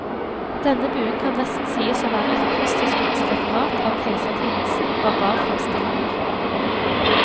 Denne buen kan nesten sies å være et kunsthistorisk referat av keisertidens barbarfremstillinger.